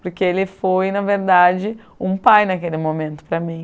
Porque ele foi, na verdade, um pai naquele momento para mim.